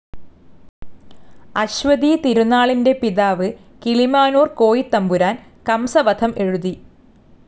അശ്വതിതിരുനാളിന്റെ പിതാവ്‌ കിളിമാനൂർ കോയിത്തമ്പുരാൻ കംസവധം എഴുതി.